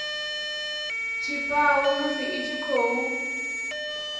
tshifhao musi i tshi khou